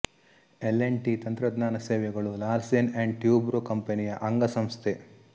L and T ತಂತ್ರಜ್ಞಾನ ಸೇವೆಗಳು Larsen and Toubro ಕಂಪನಿಯ ಅಂಗಸಂಸ್ಥೆ